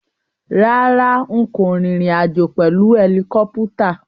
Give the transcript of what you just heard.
Rárá, n kò rìnrìn àjò pèlu ẹlikọ́pútà.